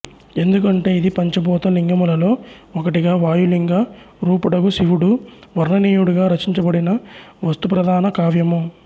ఎందుకంటే ఇది పంచభూత లింగములలో ఒకటిగా వాయు లింగ రూపుడగు శివుడు వర్ణనీయుడుగా రచించబడిన వస్తుప్రధాన కావ్యము